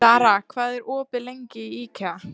Dara, hvað er opið lengi í IKEA?